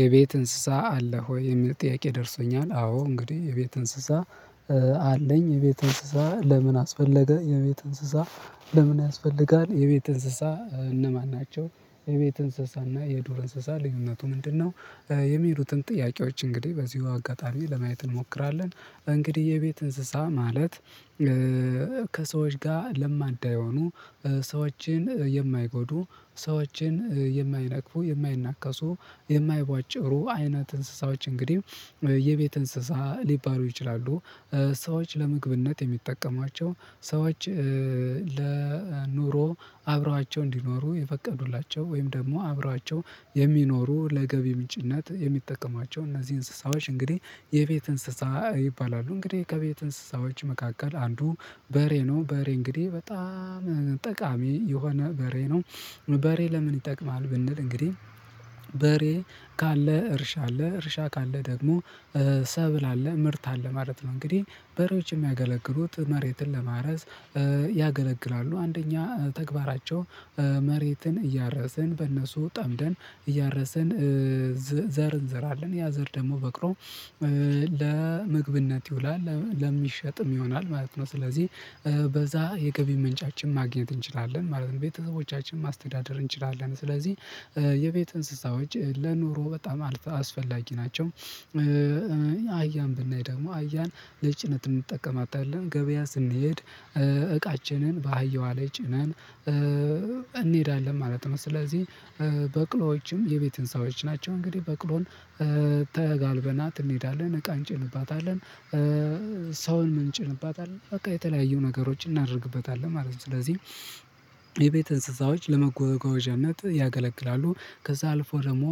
የቤት እንስሳ አለህ ወይ የሚል ጥያቄ ደርሶኛል? አዎ እንግዲህ የቤት እንስሳ አለኝ የቤት እንስሳ ለምን አስፈለገ የቤት እንስሳ? ለምን ያስፈልጋል? የቤት እንስሳ እነማን ናቸው? የቤት እንስሳና የዱር እንስሳ ልዩነቱ ምንድነው? የሚሉትን ጥያቄዎች እንግዲህ በዚሁ አጋጣሚ ለማየት እንሞክራለን። እንግዲህ የቤት እንስሳ ማለት። ከሰዎች ጋር ለማዳ የሆኑ ሰዎችን የማይጎዱ ሰዎችን የማይነቅፉ የማይነከሱ የማይቧጭሩ አይነት እንስሳዎች እንግዲህ የቤት እንስሳ ሊባሩ ይችላሉ። ሰዎች ለመግብነት የሚጠቀሟቸው ሰዎች ለኑሮ አብረዋቸው እንዲኖሩ የፈቀዱላቸው ወይም ደግሞ አብሯቸው የሚኖሩ ለገቢ ምንጭነት የሚጠቀማቸው እነዚህ እንስሳዎች እንግዲህ የቤት እንስሳ ይባላሉ። እንግዲህ ከቤት እንስሳዎች መካከል አንዱ በሬ ነው። በሬ እንግዲህ በጣም ጠቃሚ የሆነ በሬ ነው። በሬ ለምን ይጠቅማል? ብንል እንግዲህ በሬ ካለ እርሻ አለ እርሻ ካለ ደግሞ ሰብል አለ ምርት አለ ማለት ነው። እንግዲህ በሮጭ የሚያገለግሉት መሬትን ለማረስ ያገለግላሉ። አንደኛ ተግባራቸው መሬትን እያረሰን በእነሱ ጠምደን እያረሰን። ዘር እንዝራለን ያ ዘር ደግሞ በቅሎ ለመግብነት ይውላል ለሚሸጥም ይሆናል ማለት ነው። ስለዚህ በዛ የገቢ ምንጫችን ማግኘት እንችላለን ማለት ነው። ቤተሰቦቻችን ማስተዳደር እንችላለን። ስለዚህ የቤት እንስሳዎች ለኑሮ በጣም አስፈ ላጊናቸው። አህያን ብናይ ደግሞ አህያን ለጭነት እንጠቀማታለን ገበያ ስንሄድ። እቃችንን በአህየዋ ላይ ጭነን እንሄዳለን ማለት ነው። ስለዚህ በቅሎዎችም የቤት ህንፃዎች ናቸው እንግዲህ በቅሎን ተጋልበናት እንሄዳለን እቃ እጭንባታለን። ሰውን እንጨንባታለን በቃ የተለያዩ ነገሮችን እናደርግባታለን ማለት ነው። ስለዚህ የቤት እንስሳዎች ለመጓጓዣነት ያገለግላሉ። ከዛ አልፎ ደግሞ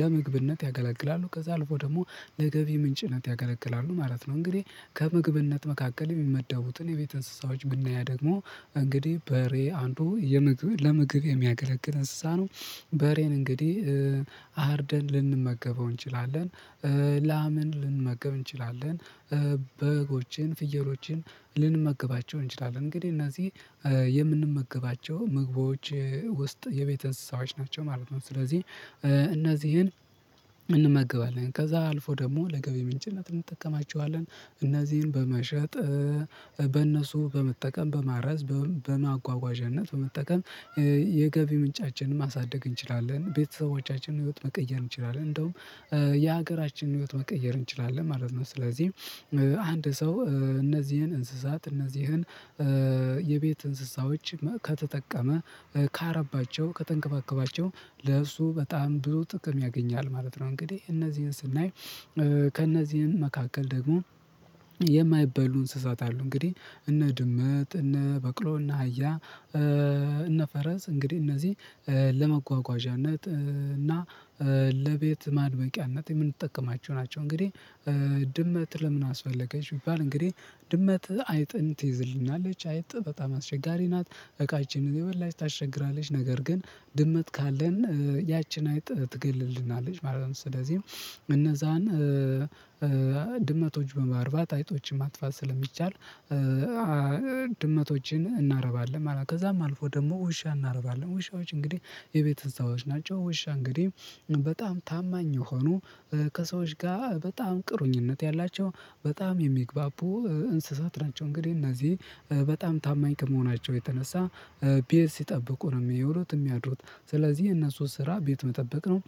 ለምግብነት ያገለግላሉ ከዛ አልፎ ደግሞ ለገቢ ምንጭነት ያገለግላሉ ማለት ነው። እንግዲህ ከምግብነት መካከል የሚመደቡትን የቤት እንስሳዎች ብናይ ደግሞ እንግዲህ በሬ አንዱ የምግብ ለምግብ የሚያገለግል እንስሳ ነው። በሬን እንግዲህ አርደን ልንመገበው እንችላለን። ላምን ልንመገብ እንችላለን። በጎችን ፍየሎችን ልንመገባቸው እንችላለን እንግዲህ እነዚህ የምንመገባቸው ምግቦች ውስጥ የቤት እንስሳዎች ናቸው ማለት ነው። ስለዚህ እነዚህን እንመገባለን ከዛ አልፎ ደግሞ ለገቢ ምንጭነት እንጠቀማቸዋለን። እነዚህን በመሸጥ በእነሱ በመጠቀም በማረዝ በማጓጓዣነት በመጠቀም። የገቢ ምንጫችንን ማሳደግ እንችላለን ቤተሰቦቻችንን ህይወት መቀየር እንችላለን። እንደውም የሀገራችንን ህይወት መቀየር እንችላለን ማለት ነው። ስለዚህ አንድ ሰው እነዚህን እንስሳት እነዚህን የቤት እንስሳዎች ከተጠቀመ ካረቧቸው ከተንከባከቧቸው ለእሱ በጣም ብዙ ጥቅም ያገኛል ማለት ነው። እንግዲህ እነዚህን ስናይ ከእነዚህን መካከል ደግሞ የማይበሉ እንስሳት አሉ። እንግዲህ እነ ድመት እነ በቅሎ እነ ሃያ እነ ፈረስ እንግዲህ እነዚህ ለመጓጓዣነት እና ለቤት ማዕድ ቀርበው የምንጠቀማቸው ናቸው። እንግዲህ ድመት ለምን አስፈለገች ቢባል? እንግዲህ ድመት አይጥን ትይዝልናለች አይጥ በጣም አስቸጋሪ ናት እቃዎችንን የመላሽ ታሸግራለች ነገር ግን ድመት ካለን ያችን አይጥ ትገልልናለች ማለት ነው። ስለዚህ እነዛን ድመቶች በማርባት አይጦችን ማጥፋት ስለሚቻል ድመቶችን እናረባለን ማለት ነው። ከዛም አልፎ ደግሞ ውሻ እናረባለን ውሻዎች እንግዲህ የቤት እንሰሳዎች ናቸው። ውሻ እንግዲህ በጣም ታማኝ ሆኖ ከሰዎች ጋር በጣም ቁርኝነት ያላቸው በጣም የሚግባቡ እንስሳት ናቸው። እንግዲህ እነዚህ በጣም ታማኝ ከመሆናቸው የተነሳ ቤት ሲጠብቁ ነው የሚውሉው የሚያድሩት ስለዚህ የነሱ ስራ ቤት መጠበቅ ነው።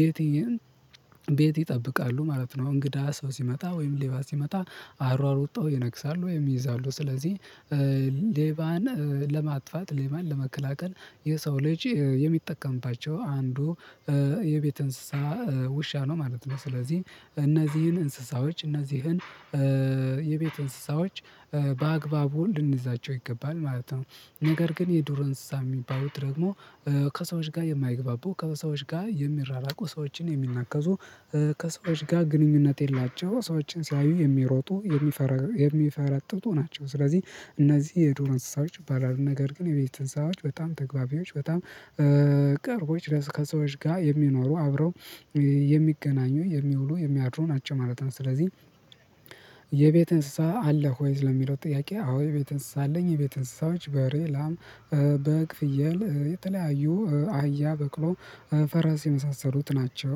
ቤቴን ቤት ይጠብቃሉ ማለት ነው። እንግዳ ሰው ሲመጣ ወይም ሌባ ሲመጣ አሯሩጠው ይነክሳሉ ወይም ይይዛሉ። ስለዚህ ሌባን ለማጥፋት ሌባን ለመከላከል የሰው ልጅ የሚጠቀምባቸው አንዱ የቤት እንስሳ ውሻ ነው ማለት ነው። ስለዚህ እነዚህን እንስሳዎች እነዚህን የቤት እንስሳዎች በአግባቡ እንድንይዛቸው ይገባል ማለት ነው። ነገር ግን የዱር የሚባሉት ደግሞ ከሰዎች ጋር የማይግባቡ ከሰዎች ጋር የሚራራቁ ሰዎችን የሚናከሱ ከሰዎች ጋር ግንኙነት የሌላቸው ሰዎችን ሲያዩ የሚሮጡ የሚፈረጥጡ ናቸው። ስለዚህ እነዚህ የዱር እንስሳዎች ይባላሉ። ነገር ግን የቤት እንስሳዎች በጣም ተግባቢዎች በጣም ቅርቦች ከሰዎች ጋር የሚኖሩ አብረው የሚገናኙ የሚውሉ የሚያድሩ ናቸው ማለት ነው። ስለዚህ የቤት እንስሳ አለ ወይ? ለሚለው ጥያቄ አዎ የቤት እንስሳ አለኝ የቤት እንስሳዎች በሬ ላም በግ ፍየል የተለያዩ አህያ በቅሎ ፈረስ የመሳሰሉት ናቸው